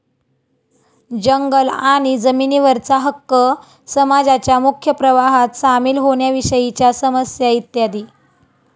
जंगल आणि जमिनीवरचा हक्क, समाजाच्या मुख्य प्रवाहात सामील होण्याविषयीच्या समस्या इत्यादी.